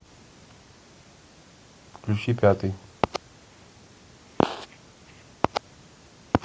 включи пятый